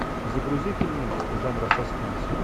загрузи фильм жанра саспенс